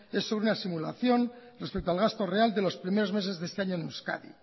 es una simulación respecto al gasto real de los primeros meses de este año en euskadi